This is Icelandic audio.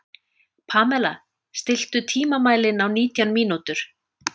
Pamela, stilltu tímamælinn á nítján mínútur.